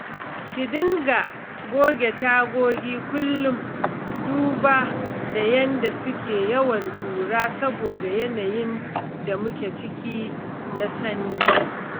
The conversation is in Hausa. Ki dinga goge tagogi kullum duba da yadda suke yawan ƙura saboda yanayin da muke ciki na sanyi